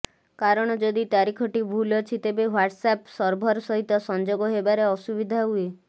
କାରଣ ଯଦି ତାରିଖଟି ଭୁଲ ଅଛି ତେବେ ହ୍ୱାଟସ୍ ଆପ୍ ସର୍ଭର ସହିତ ସଂଯୋଗ ହେବାରେ ଅସୁବିଧା ହୁଏ